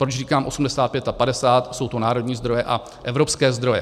Pokud říkám 85 + 50, jsou to národní zdroje a evropské zdroje.